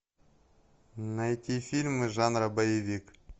найти фильмы жанра боевик